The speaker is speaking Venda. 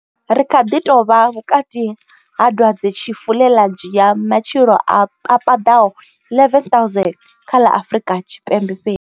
Ri kha ḓi tou vha vhukati ha dwadze tshifu ḽe ḽa dzhia matshilo a paḓaho 11,000 kha ḽa Afrika Tshipembe fhedzi.